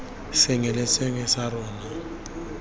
sengwe le sengwe sa rona